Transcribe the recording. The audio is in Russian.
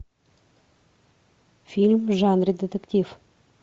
фильм в жанре детектив